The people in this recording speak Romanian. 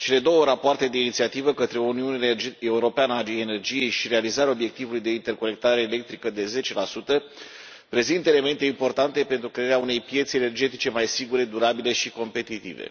Cele două rapoarte de inițiativă, Către o uniune europeană a energiei și Realizarea obiectivului de interconectare electrică de 10 prezintă elemente importante pentru crearea unei piețe energetice mai sigure, durabile și competitive.